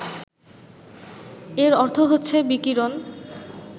এর অর্থ হচ্ছে বিকিরণ